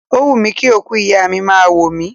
Ó wùmí kí òkú ìyá mi máa wò mí.